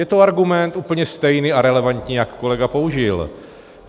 Je to argument úplně stejný a relevantní, jak kolega použil.